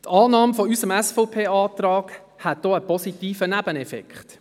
Die Annahme unseres SVP-Antrags hätte auch einen positiven Nebeneffekt.